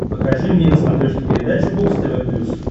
покажи мне на смотрешке передачу бокс тв плюс